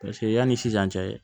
Paseke yanni sisan cɛ